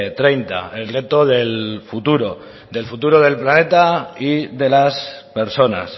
treinta el reto del futuro del futuro del planeta y de las personas